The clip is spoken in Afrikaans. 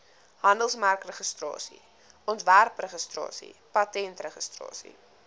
handelsmerkregistrasie ontwerpregistrasie patentregistrasie